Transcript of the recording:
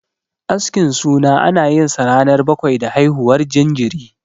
Askin suna ana yinsa ranar bakwai da haihuwar jinjiri.